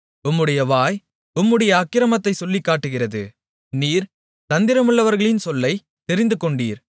உம்முடைய வாய் உம்முடைய அக்கிரமத்தைச் சொல்லிக்காட்டுகிறது நீர் தந்திரமுள்ளவர்களின் சொல்லைத் தெரிந்துகொண்டீர்